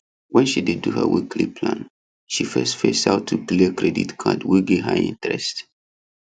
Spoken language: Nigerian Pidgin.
when she dey do her weekly plan she first face how to clear credit card wey get high interest